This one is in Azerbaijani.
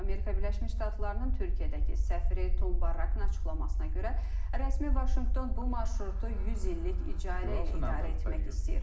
Amerika Birləşmiş Ştatlarının Türkiyədəki səfiri Tom Barrakın açıqlamasına görə, rəsmi Vaşinqton bu marşrutu 100 illik icarə ilə idarə etmək istəyir.